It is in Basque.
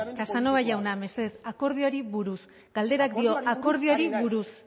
casanova jauna mesedez akordioari buruz galderak dio akordioari buruz